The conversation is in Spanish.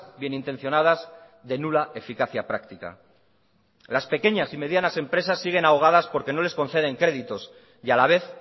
bien intencionadas de nula eficacia práctica las pequeñas y medianas empresas siguen ahogas porque no les conceden créditos y a la vez